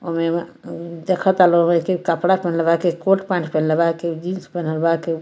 ओ में म मम देखता लोगे के कपड़ा पेहेनले बा के कोट पैंट पेहेनले बा के जीन्स पेहनल बा के --